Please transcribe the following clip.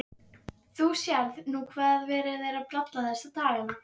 Þú sérð nú hvað verið er að bralla þessa dagana.